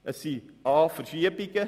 Es sind dies a)